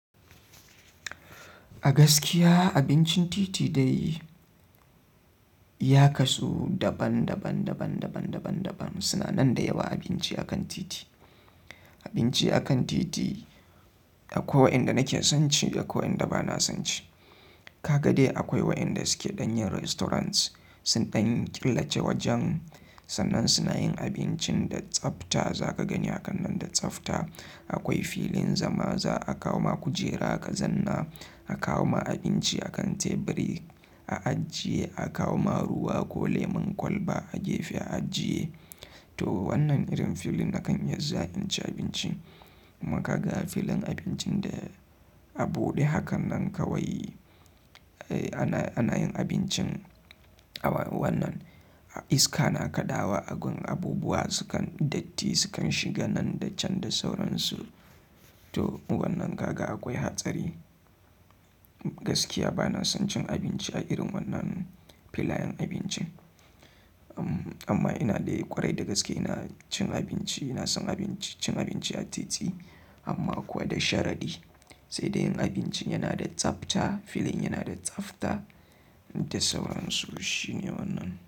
A gaskiya abincin titi dai ya kasu daban daban, suna nan da yawa abinci akan titi. Abinci akan titi akwai wayanda nake son ci akwai wayanda bana son ci. Ka ga dai akwai waɗanda suke ɗanyin restaurants. Sun dan killace wajen sannan suna yin abincin da tsafta. Za ka gani a kan nan da tsafta. Akwai fillin zama za a kawoma kujera ka zanna a kawo ma abinci akan teburi a ajiye, a kawo ma ruwa ko lemon kwalba a gefe a ajiye. To wannan irin filin nakan iyazuwa in ci abinci. Kuma kaga fililn abincin da abude hakannan kawai ana yin abinci aba wannan iska na kadawa abubuwa sukan datti sukan shiga nan da can da sauransu. To wannan ka ga akwai hatsari. Gaskiya bana son cin abinci a irin wannan filayen abinci. Amma ina dai ƙwarai da gaske ina cin abinci, ina son cin abinci a titi amma kuma da sharadi sai dai yin abincin yana da tsafta, filin yana da tsafta da sauran su shine wannan.